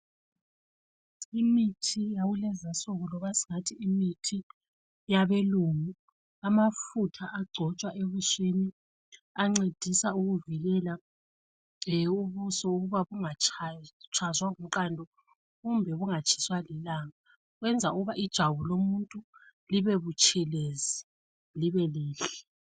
Imithi yakulezi insuku loba singathi imithi yabelungu amafutha agcotshwa ebusweni ancedisa ukuvikela ubuso ukuba bungatshazwa ngumqando kumbe bungatshiswa lilanga. Kwenza ukuba ijwabu lomuntu libe butshelezi libe lihle.